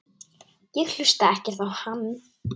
Ég hlusta ekkert á hann.